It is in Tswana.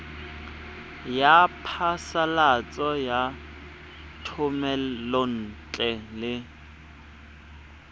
ya phasalatso ya thomelontle le